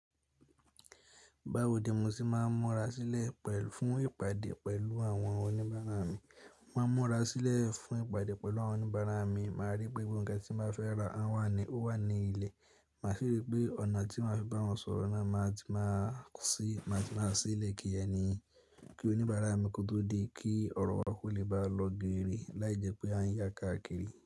Báwo ni mo ṣe máa mọra sílẹ̀ fún ìpàdé pẹ̀lú àwọn oníbàárà mi? Máa mọra sílẹ̀ fún ìpàdé pẹ̀lú àwọn oníbàárà mi, màá rí pé gbogbo ǹkan tí mo fẹ́ ra wà ní ilẹ̀. Màá ṣeré pé ọ̀nà tí màá fi bá wọn sọ̀rọ̀ náà máa sì le ki ẹni, kí oníbàárà mi kó tó dé, kí ọ̀rọ̀ wa kó lè bá lọ geere, láìjẹ́ pé a ń yá káàkiri.